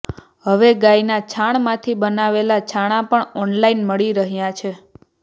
હવે ગાયના છાણ માંથી બનાવેલા છાણા પણ ઓનલાઇન મળી રહ્યા છે